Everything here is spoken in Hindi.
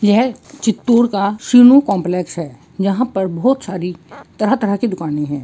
यह चित्तूर का सिनु काम्प्लेक्स है यहाँ पर बोहत सारी तरह-तरह की दुकाने है|